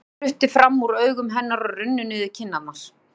Tár spruttu fram úr augum hennar og runnu niður kinnarnar.